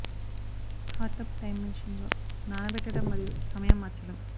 hot tub time machine లో నానబెట్టడం మరియు సమయం మచ్చలు